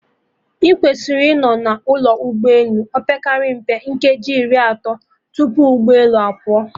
Ị kwesịrị ịnọ na ụlọ ụgbọ elu, opekata mpe nkeji iri atọ tupu oge ụgbọ elu a pụọ